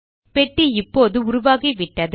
பெட்டி இப்பொழுது உருவாகிவிட்டது